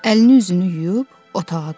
Əlini üzünü yuyub otağa qayıtdı.